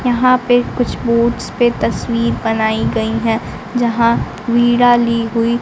यहां पे कुछ बोर्ड्स पे तस्वीर बनाई गई है जहां वीड़ा ली हुई--